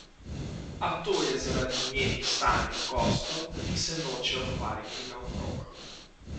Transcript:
A to je zaradi njenih stalnih gostov, ki se nočejo hvaliti naokrog.